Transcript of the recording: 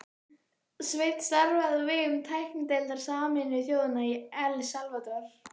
Sveinn starfaði á vegum tæknideildar Sameinuðu þjóðanna í El Salvador